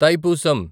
Thaipusam